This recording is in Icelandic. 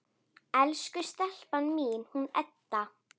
Elsku stelpan mín, hún Edda!